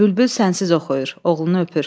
Bülbül sənsiz oxuyur, oğlunu öpür.